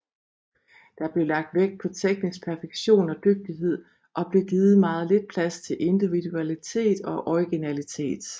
Der blev lagt vægt på teknisk perfektion og dygtighed og blev givet meget lidt plads til individualitet og originalitet